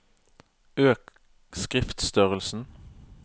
Øk skriftstørrelsen